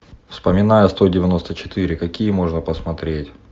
вспоминая сто девяносто четыре какие можно посмотреть